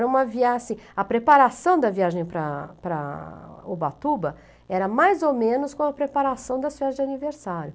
é uma A preparação da viagem para para Ubatuba era mais ou menos com a preparação das festas de aniversário.